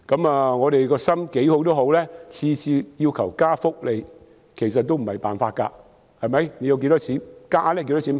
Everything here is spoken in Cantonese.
無論我們的原意有多好，若每次只要求增加福利也不是辦法，可以增加多少金額呢？